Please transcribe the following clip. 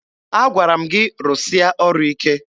Agwara m gị rụsịa ọrụ ike!